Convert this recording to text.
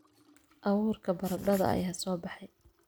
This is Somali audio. Abuurka baradhada ayaa soo baxay